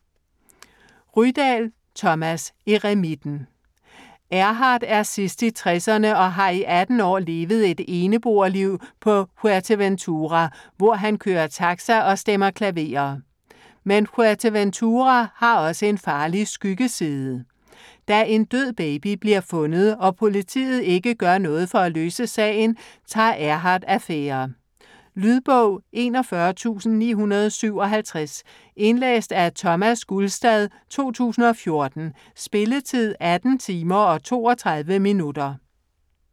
Rydahl, Thomas: Eremitten Erhard er sidst i tresserne og har i 18 år levet et eneboerliv på Fuerteventura, hvor han kører taxa og stemmer klaverer. Men Fuerteventura har også en farlig skyggeside. Da en død baby bliver fundet og politiet ikke gør noget for at løse sagen, tager Erhard affære. Lydbog 41957 Indlæst af Thomas Gulstad, 2014. Spilletid: 18 timer, 32 minutter.